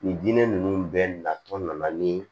Nin diinɛ nunnu bɛɛ natɔ nana ni